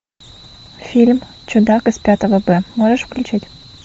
фильм чудак из пятого б можешь включить